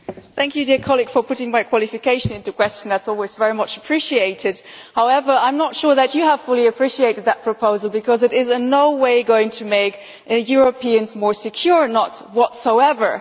Thank you for calling my qualification into question that is always very much appreciated. However, I am not sure that you have fully appreciated the proposal, because it is in no way going to make Europeans more secure in no way whatsoever.